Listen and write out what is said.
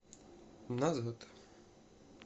назад